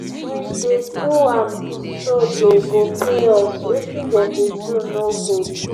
we dey do am so dey go pay us wetin dem dey do no good